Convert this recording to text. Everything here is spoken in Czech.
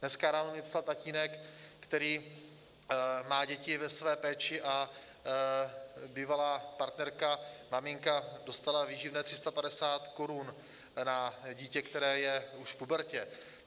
Dneska ráno mi psal tatínek, který má děti ve své péči, a bývalá partnerka, maminka, dostala výživné 350 korun na dítě, které je už v pubertě.